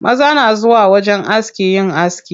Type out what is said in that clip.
Maza na zuwa wajen aski yin aski.